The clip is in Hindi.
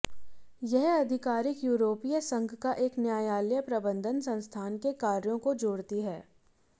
यह आधिकारिक यूरोपीय संघ का एक न्यायालय प्रबंधन संस्थान के कार्यों को जोड़ती है